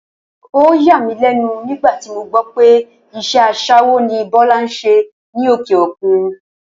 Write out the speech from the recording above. Ó yàmílé̩nu nígbà tí mo gbó̩ pé is̩é̩ as̩é̩wó ni Bó̩lá ń s̩e ní òkè òkun